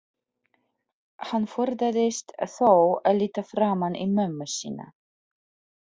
Hann forðaðist þó að líta framan í mömmu sína.